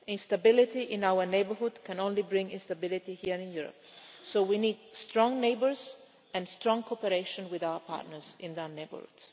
Instability in our neighbourhood can only bring instability here in Europe, so we need strong neighbours and strong cooperation with our partners in their neighbourhoods.